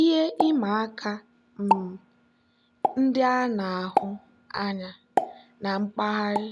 ihe ịma aka um ndị a na-ahụ anya na mpaghara